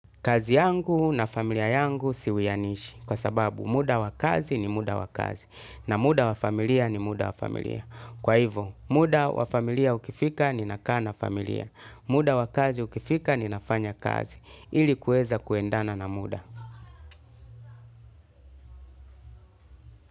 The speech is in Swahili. Kazi yangu na familia yangu siwianishi kwa sababu muda wa kazi ni muda wa kazi na muda wa familia ni muda wa familia. Kwa hivo muda wa familia ukifika ni nakaa na familia. Muda wa kazi ukifika ni nafanya kazi ili kuweza kuendana na muda.